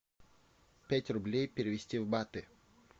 пять рублей перевести в баты